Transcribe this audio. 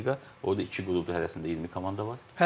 Orda iki qrupdur, hərəsində 20 komanda var.